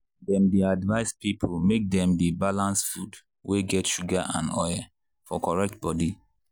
dem dey advice people make dem dey balance food wey get sugar and oil for correct body.